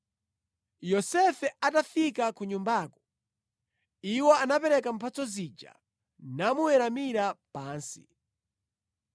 Yosefe atafika ku nyumbako, iwo anapereka mphatso zija namuweramira pansi.